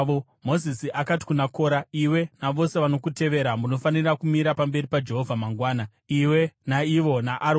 Mozisi akati kuna Kora, “Iwe navose vanokutevera munofanira kumira pamberi paJehovha mangwana, iwe, naivo naAroni.